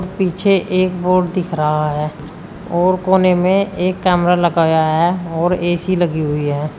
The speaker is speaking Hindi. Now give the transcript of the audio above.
पीछे एक बोर्ड दिख रहा है और कोने में एक कैमरा लगाया है और ए_सी लगी हुई है।